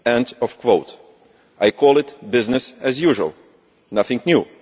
I call it business as usual, nothing new.